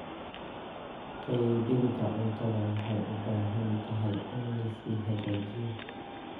Qaybinta cuntada waxay u baahan tahay in la sii hagaajiyo.